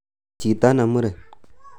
"Chito ne muren